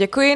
Děkuji.